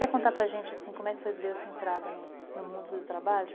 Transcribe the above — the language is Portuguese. Quer contar para gente, assim, como é que deu a sua entrada no mundo do trabalho?